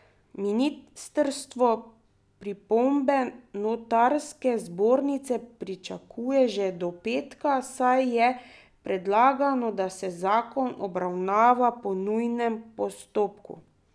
Ministrstvo pripombe notarske zbornice pričakuje že do petka, saj je predlagano, da se zakon obravnava po nujnem postopku.